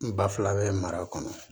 N ba fila bɛ mara kɔnɔ